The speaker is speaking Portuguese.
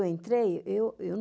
entrei, eu eu